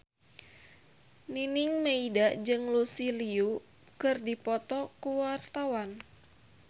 Nining Meida jeung Lucy Liu keur dipoto ku wartawan